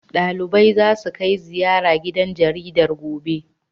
Ɗaliban zasu kai ziyara gidan jaridar, gobe. be